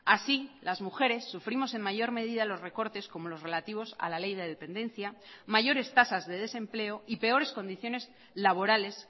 así las mujeres sufrimos en mayor medida los recortes como los relativos a la ley de dependencia mayores tasas de desempleo y peores condiciones laborales